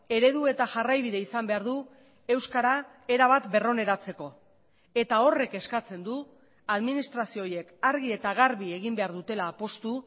eredu eta jarraibide izan behar du euskara erabat berroneratzeko eta horrek eskatzen du administrazio horiek argi eta garbi egin behar dutela apustu